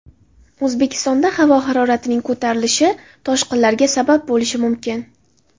O‘zbekistonda havo haroratining ko‘tarilishi toshqinlarga sabab bo‘lishi mumkin.